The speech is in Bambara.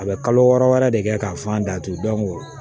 A bɛ kalo wɔɔrɔ wɛrɛ de kɛ k'a f'an datugu